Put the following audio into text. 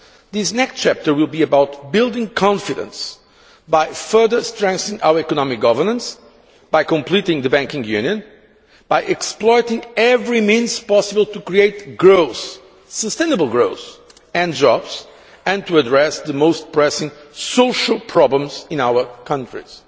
This next chapter will be about building confidence by further strengthening our economic governance, by completing the banking union and by exploiting every means possible to create growth sustainable growth and jobs and to address the most pressing social problems in our countries.